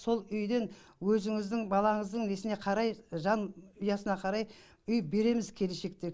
сол үйден өзіңіздің балаңыздың несіне қарай жанұясына қарай үй береміз келешекте